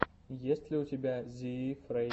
есть ли у тебя зиифрей